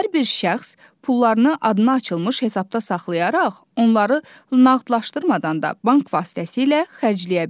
Hər bir şəxs pullarını adına açılmış hesabda saxlayaraq onları nağdlaşdırmadan da bank vasitəsilə xərcləyə bilər.